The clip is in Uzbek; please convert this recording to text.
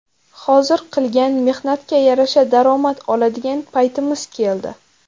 Hozir qilgan mehnatga yarasha daromad oladigan paytimiz keldi.